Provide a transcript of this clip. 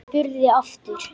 Hún spurði aftur.